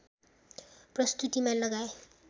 प्रस्तुतीमा लगाए